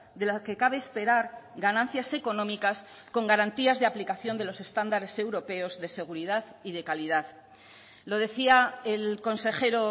de la que cabe esperar ganancias económicas con garantías de aplicación de los estándares europeos de seguridad y de calidad lo decía el consejero